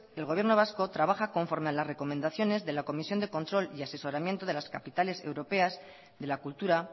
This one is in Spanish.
el gobierno vasco trabaja conforme a las recomendaciones de la comisión de control y asesoramiento de las capitales europeas de la cultura